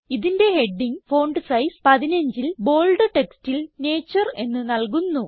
ഇതിന്റെ heading font size 15ൽ bold ടെക്സ്റ്റിൽ നേച്ചർ എന്ന് നല്കുന്നു